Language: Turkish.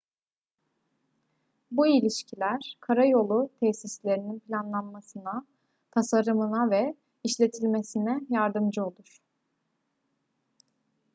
bu ilişkiler karayolu tesislerinin planlanmasına tasarımına ve işletilmesine yardımcı olur